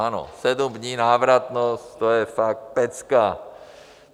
Ano, sedm dní návratnost, to je fakt pecka!